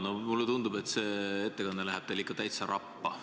No mulle tundub, et see ettekanne läheb teil ikka täitsa rappa.